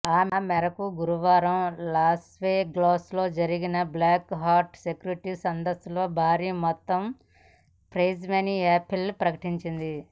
ఆ మేరకు గురువారం లాస్వెగాస్లో జరిగిన బ్లాక్ హ్యాట్ సెక్యూరిటీ సదస్సులో భారీ మొత్తం ప్రైజ్మనీ యాపిల్ ప్రకటించింది